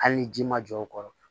Hali ni ji ma jɔ o kɔrɔ